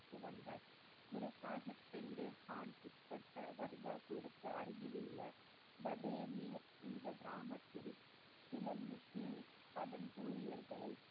குரு சாகிப் பின்னே கான் உட்பட்ட கர்தாபுருக்கு அருகிலுள்ள பதேணி என்ற கிராமத்தில் சில முஸ்லிம் சமய ஊழியர்களை